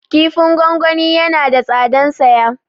Kifin gwangwani yana da tsadan saya